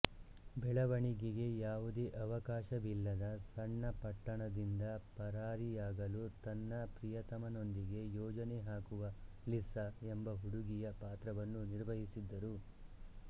ಬೆಳವಣಿಗೆಗೆ ಯಾವುದೇ ಅವಕಾಶವಿಲ್ಲದ ಸಣ್ಣ ಪಟ್ಟಣದಿಂದ ಪರಾರಿಯಾಗಲು ತನ್ನ ಪ್ರಿಯತಮನೊಂದಿಗೆ ಯೋಜನೆ ಹಾಕುವ ಲಿಸ್ಸಾ ಎಂಬ ಹುಡುಗಿಯ ಪಾತ್ರವನ್ನು ನಿರ್ವಹಿಸಿದ್ದರು